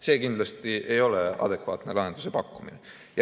See kindlasti ei ole adekvaatne lahenduse pakkumine.